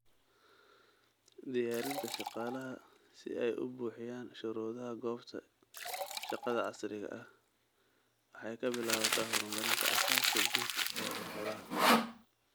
Diyaarinta shaqaalaha si ay u buuxiyaan shuruudaha goobta shaqada casriga ah waxay ka bilaabataa horumarinta aasaaska guud ee xirfadaha.